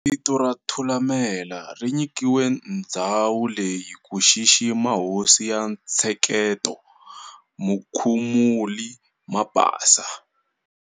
Vito ra'Thulamela' ri nyikiwile ndzhawu leyi ku xixima hosi ya ntsheketo Mukhumuli Mabasa.